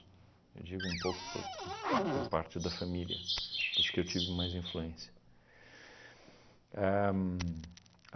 Eu digo um pouco por uhn por parte da família, dos que eu tive mais influência. Ahn